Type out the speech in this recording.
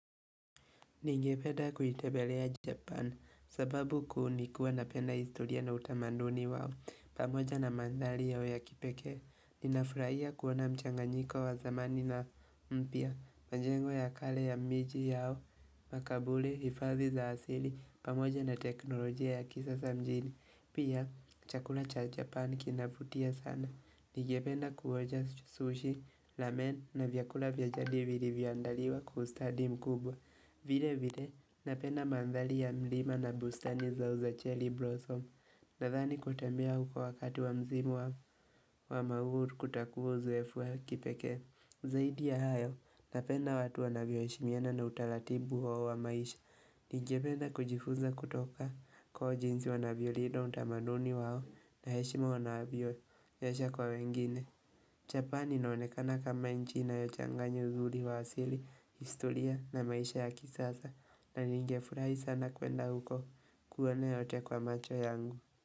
Ningependa kuitembelea Japan. Sababu kuu ni kuwa napenda historia na utamanduni wao, pamoja na mandhari yao ya kipekee. Ninafurahia kuona mchanganyiko wa zamani na mpya, majengo ya kale ya miji yao, makaburi, hifadhi za asili, pamoja na teknolojia ya kisasa mjini. Pia, chakula cha Japan kinavutia sana. Ningependa kuonja sushi, ramen na vyakula vya jadi vilivyoandaliwa kwa ustadi mkubwa. Vile vile napenda mandhari ya mlima na bustani zao za cherry blossom Nadhani kutembea huko wakati wa mzimu wa mauru kutakuwa uzoefu wa kipekee Zaidi ya hayo napenda watu wanavyoheshimiana na utaratibu wao wa maisha. Ningependa kujifunza kutoka kwao jinsi wanavyolinda utamaduni wao na heshima wanavyoonyesha kwa wengine Japani inaonekana kama nchi inayochanganya uzuri wa asili, historia na maisha ya kisasa na ningefurahi sana kwenda huko kuona yote kwa macho yangu.